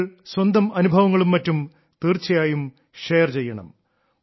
നിങ്ങൾ സ്വന്തം അനുഭവങ്ങളും മറ്റും തീർച്ചയായും ഷെയർ ചെയ്യണം